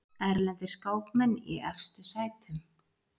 Erlendir skákmenn í efstu sætum